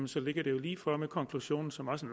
så ligger det jo lige for med konklusionen som også